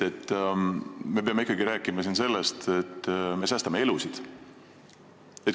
Me peame ikkagi rääkima sellest, et me säästame elusid.